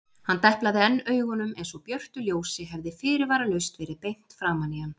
Hann deplaði enn augunum einsog björtu ljósi hefði fyrirvaralaust verið beint framan í hann.